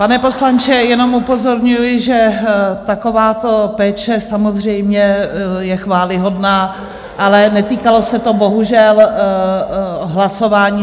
Pane poslanče, jenom upozorňuji, že takováto péče samozřejmě je chvályhodná, ale netýkalo se to bohužel hlasování.